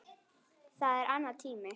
Það er annar tími.